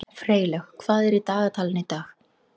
Freylaug, hvað er í dagatalinu í dag?